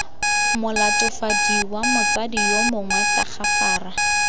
molatofadiwa motsadi yo mongwe tagafara